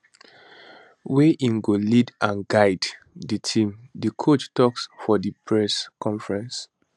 wey im go lead and guide di team di coach tok for di press conference